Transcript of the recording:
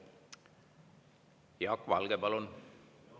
Jaak Valge, palun!